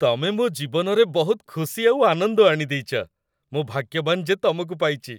ତମେ ମୋ ଜୀବନରେ ବହୁତ ଖୁସି ଆଉ ଆନନ୍ଦ ଆଣିଦେଇଚ । ମୁଁ ଭାଗ୍ୟବାନ ଯେ ତମକୁ ପାଇଚି ।